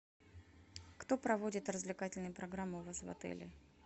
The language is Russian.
кто проводит развлекательные программы у вас в отеле